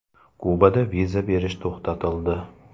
Kubada viza berish to‘xtatildi.